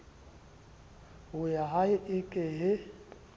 ho yahae e ke ye